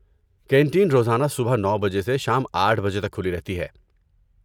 canteen روزانہ صبح نو بجے سے شام آٹھ بجے تک کھلی رہتی ہے